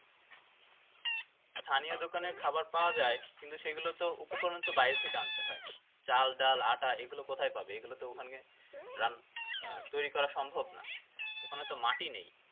স্থানীয় দোকানে খাওয়ার পাওয়া যায় কিন্তু সেগুলোর উপকরণ তো বাইরে থেকে আন্তে হয় চাল ডাল আটা এগুলো কোথায় পাবে এগুলা তো তৈরী করা সম্ভব না ওখানে তো মাটি নেই